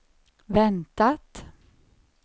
väntat